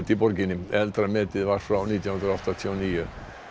í borginni eldra metið var frá nítján hundruð áttatíu og níu